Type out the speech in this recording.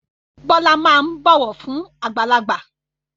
Bọlá máa ń bọ̀wọ̀ fún àgbàlagbà